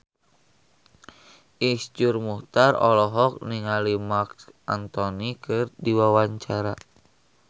Iszur Muchtar olohok ningali Marc Anthony keur diwawancara